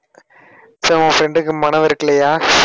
உன் friend க்கு மனம் வெறுக்கலையா